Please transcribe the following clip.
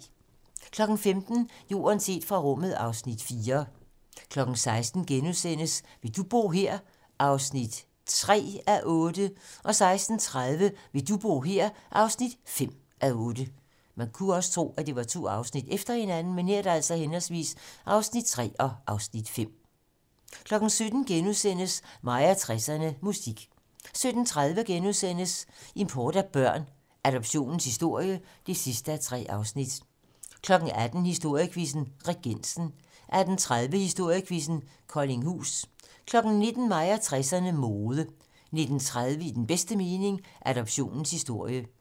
15:00: Jorden set fra rummet (Afs. 4) 16:00: Vil du bo her? (3:8)* 16:30: Vil du bo her? (5:8) 17:00: Mig og 60'erne: Musik * 17:30: Import af børn - Adoptionens historie (3:3)* 18:00: Historiequizzen: Regensen 18:30: Historiequizzen: Koldinghus 19:00: Mig og 60'erne: Mode 19:30: I den bedste mening - Adoptionens historie 20:00: Gæsten og hesten (Afs. 4)